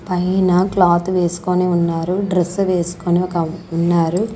పైన క్లాత్ వేసుకొని ఉన్నారు డ్రెస్ వేసుకొని ఒక ఉన్నారు.